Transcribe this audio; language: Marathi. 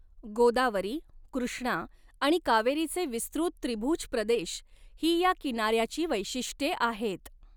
गोदावरी, कृष्णा आणि कावेरीचे विस्तृत त्रिभुज प्रदेश ही ह्या किनाऱ्याची वैशिष्ट्ये आहेत.